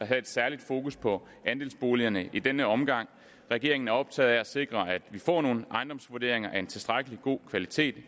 have et særligt fokus på andelsboligerne i denne omgang regeringen er optaget af at sikre at vi får nogle ejendomsvurderinger af en tilstrækkelig god kvalitet